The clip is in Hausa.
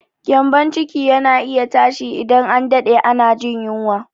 Gyambon ciki yana iya tashi idan an daɗe ana jin yunwa.